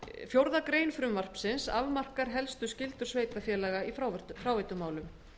fjórða grein frumvarpsins afmarkar helstu skyldur sveitarfélaga í fráveitumálum